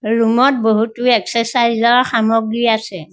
Room ত বহুতো exercise ৰ সামগ্ৰী আছে।